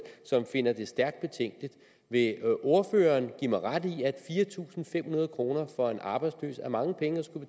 som finder det stærkt betænkeligt vil ordføreren give mig ret i at fire tusind fem hundrede kroner for en arbejdsløs er mange penge at skulle